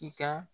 I ka